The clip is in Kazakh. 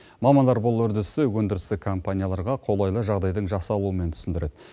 мамандар бұл үрдісті өндірістік компанияларға қолайлы жағдайдың жасалуымен түсіндіреді